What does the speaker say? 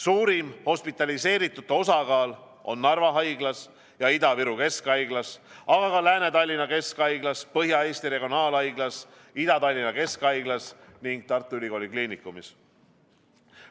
Suurim hospitaliseeritute osakaal on Narva Haiglas, Ida-Viru Keskhaiglas, Lääne-Tallinna Keskhaiglas, Põhja-Eesti Regionaalhaiglas, Ida-Tallinna Keskhaiglas ning Tartu Ülikooli Kliinikumis.